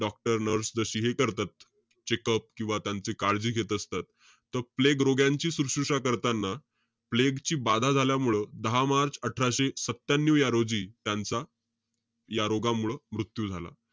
Doctor nurse जशी हे करतात, checkup किंवा त्यांची काळजी घेत असतात. त प्लेग रोग्यांची सुश्रुषा करताना. प्लेग ची बाधा झाल्यामुळं, दहा मार्च अठराशे सत्यान्यू या रोजी त्यांचा या रोगामुळं मृत्यू झाला.